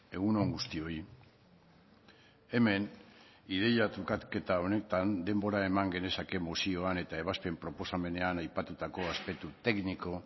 egun on guztioi hemen ideia trukaketa honetan denbora eman genezake mozioan eta ebazpen proposamenean aipatutako aspektu tekniko